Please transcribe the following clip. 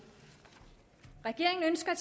at